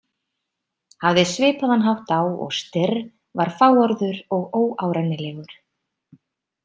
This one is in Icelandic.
Hafði svipaðan hátt á og Styrr, var fáorður og óárennilegur.